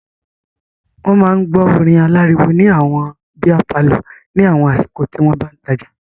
Wọ́n máa ń gbọ́ orin aláriwo ní àwọn bíá palọ̀ ní àwọn àsìkò tí wọ́n bá ń tajà.